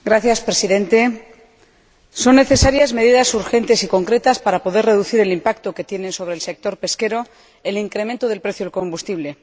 Señor Presidente, son necesarias medidas urgentes y concretas para poder reducir el impacto que tiene sobre el sector pesquero el incremento del precio del combustible.